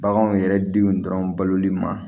Baganw yɛrɛ denw dɔrɔn baloli ma